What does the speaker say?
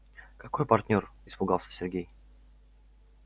какой партнёр испугался сергей